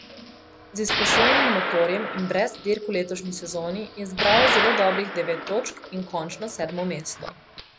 Z izposojenim motorjem in brez dirk v letošnji sezoni je zbral zelo dobrih devet točk in končno sedmo mesto.